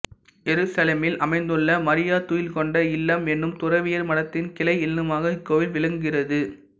எருசலேமில் அமைந்துள்ள மரியா துயில்கொண்ட இல்லம் என்னும் துறவியர் மடத்தின் கிளை இல்லமாக இக்கோவில் விளங்குகிறது